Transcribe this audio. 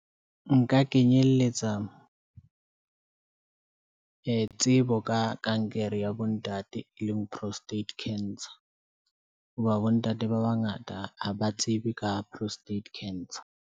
Nka kenyeletsa tsebo ka kankere ya bontate, e leng Prostate Cancer, hoba bontate ba bangata ha ba tsebe ka Prostate Cancer.